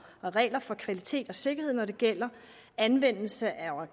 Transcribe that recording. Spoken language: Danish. regler for kvalitet og sikkerhed når det gælder anvendelse af